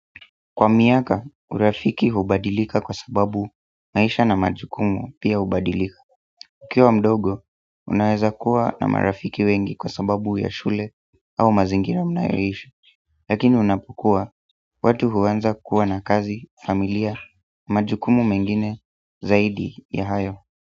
Kwa miaka, urafiki hubadilika kwa sababu maisha na majukumu pia hubadilika ukiwa mdogo, unaweza kuwa na marafiki wengi kwa sababu ya shule au mazingira mnayoishi lakini unapokua, watu huanza kuwa na kazi, familia, majukumu mengine zaidi ya hayo.